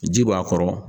Ji b'a kɔrɔ